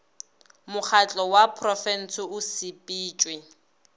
mokgatlo wa porofensi o sepetšwe